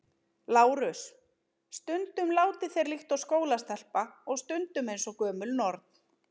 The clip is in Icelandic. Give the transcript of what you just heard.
LÁRUS: Stundum látið þér líkt og skólastelpa og stundum eins og gömul norn.